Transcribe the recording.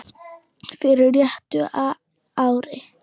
fyrir réttu ári.